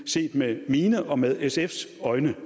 set med mine og med sfs øjne